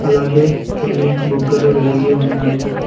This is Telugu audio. అలాగే కొన్ని బుగ్గలు వెలిగి ఉన్నాయి.